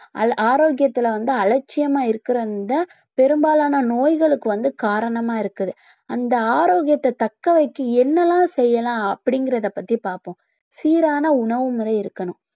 அது ஆரோக்கியத்துல வந்து அலட்சியமா இருக்கிற அந்த பெரும்பாலான நோய்களுக்கு வந்து காரணமா இருக்குது அந்த ஆரோக்கியத்தை தக்க வக்க என்னெல்லாம் செய்யலாம் அப்படிங்கிறதை பத்தி பார்ப்போம் சீரான உணவு முறை இருக்கணும்